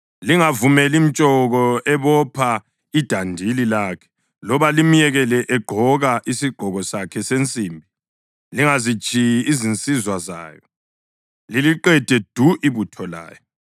Lingavumeli mtshoki ebopha idandili lakhe loba limyekele egqoka isigqoko sakhe sensimbi. Lingazitshiyi izinsizwa zayo, liliqede du ibutho layo.